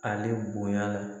Ale bonya la.